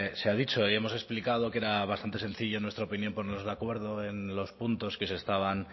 se ha dicho y hemos explicado que era bastante sencillo en nuestra opinión ponernos de acuerdo en los puntos que se estaban